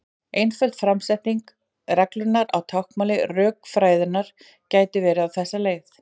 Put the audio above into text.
Einföld framsetning reglunnar á táknmáli rökfræðinnar gæti verið á þessa leið: